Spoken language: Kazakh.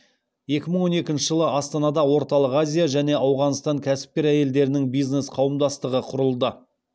екі мың он екінші жылы астанада орталық азия және ауғанстан кәсіпкер әйелдерінің бизнес қауымдастығы құрылды